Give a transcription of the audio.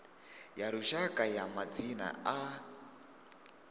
ya lushaka ya madzina a